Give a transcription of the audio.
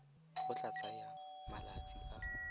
go tla tsaya malatsi a